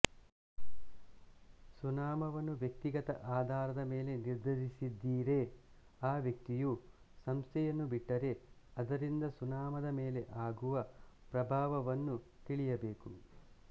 ಸುನಾಮವನ್ನು ವ್ಯಕ್ತಿಗತ ಆಧಾರದ ಮೇಲೆ ನಿರ್ಧರಿಸಿದ್ದಿರೆ ಆ ವ್ಯಕ್ತಿಯು ಸಂಸ್ಥೆಯನ್ನು ಬಿಟ್ಟರೆ ಅದರಿಂದ ಸುನಾಮದ ಮೇಲೆ ಆಗುವ ಪ್ರಭಾವವನ್ನು ತಿಳಿಯಬೇಕು